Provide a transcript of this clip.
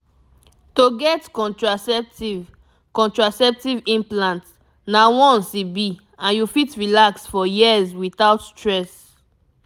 to get contraceptive contraceptive implant na once e be and you fit relax for years without stress